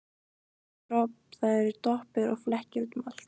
Það eru doppur og flekkir út um allt.